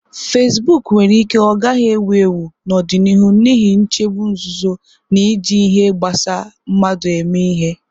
Fasiboku nwere ike ọ gaghị ewu ewu n'ọdịnihu n'ihi nchegbu nzuzo na iji ihe gbasa mmadu eme ihe.